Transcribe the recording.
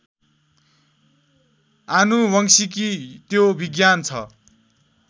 आनुवंशिकी त्यो विज्ञान छ